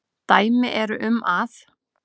Dæmi eru um að